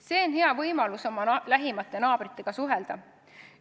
See on hea võimalus oma lähimate naabritega suhelda.